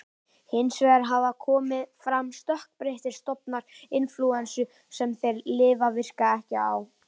Hins vegar hafa komið fram stökkbreyttir stofnar inflúensu sem þessi lyf virka ekki á.